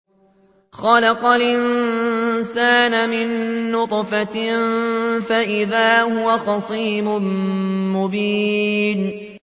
خَلَقَ الْإِنسَانَ مِن نُّطْفَةٍ فَإِذَا هُوَ خَصِيمٌ مُّبِينٌ